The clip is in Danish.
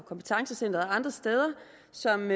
som